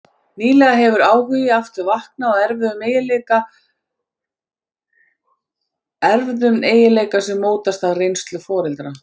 Nýlega hefur áhugi aftur vaknað á erfðum eiginleika sem mótast af reynslu foreldra.